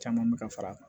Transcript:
Caman mi ka far'a kan